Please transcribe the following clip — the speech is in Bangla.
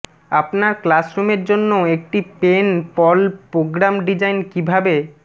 আপনার ক্লাসরুমের জন্য একটি পেন পল প্রোগ্রাম ডিজাইন কিভাবে